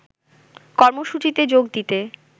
কর্মসূচিতে যোগ দিতে